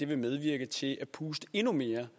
vil medvirke til at puste endnu mere